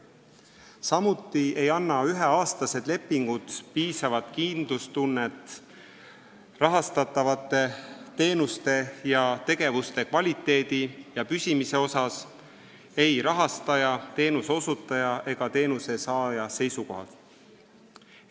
Samuti ei anna üheaastased lepingud piisavat kindlustunnet rahastatavate teenuste ja tegevuste kvaliteedi ja püsimise kohta ei rahastaja, teenuse osutaja ega teenuse saaja seisukohalt.